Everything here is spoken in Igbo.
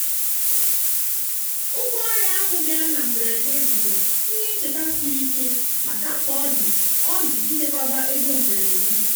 ụgwọ ọrịa ahụ bịara na mberede bụ ihe ncheta siri ike maka mkpa ọ dị ọ dị ichekwaba ego mberede.